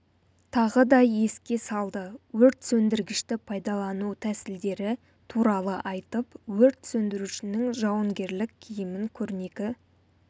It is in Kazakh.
тағы да еске салды өрт сөндіргішті пайдалану тәсілдері туралы айтып өрт сөндірушінің жауынгерлік киімін көрнекі